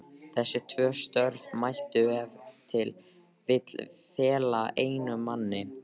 Þessi tvö störf mætti ef til vill fela einum manni.